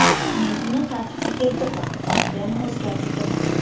Men uni tartibga keltirdim, bamperni o‘zgartirdim.